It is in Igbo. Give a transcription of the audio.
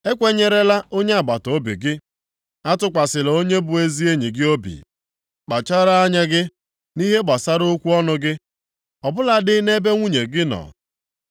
Ekwenyerela onye agbataobi gị, atụkwasịla onye bụ ezi enyi gị obi. Kpachara anya gị, nʼihe gbasara okwu ọnụ gị, ọbụla dị nʼebe nwunye gị nọ.